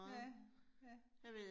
Ja, ja